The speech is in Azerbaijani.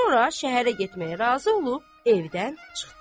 Sonra şəhərə getməyə razı olub evdən çıxdı.